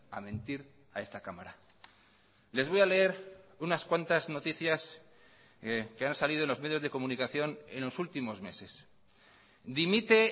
a mentir a esta cámara les voy a leer unas cuantas noticias que han salido en los medios de comunicación en los últimos meses dimite